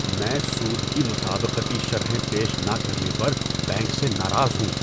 میں سود کی مسابقتی شرحیں پیش نہ کرنے پر بینک سے ناراض ہوں۔